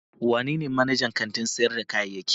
Wanene manajan kantin sayar da kayayyaki?